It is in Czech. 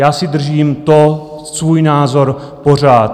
Já si držím to svůj názor pořád.